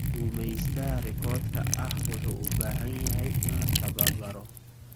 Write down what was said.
Gumeystaha rikoodhka ah wuxuu u baahan yahay in la tababaro.